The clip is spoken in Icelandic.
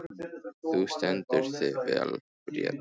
Þú stendur þig vel, Bríet!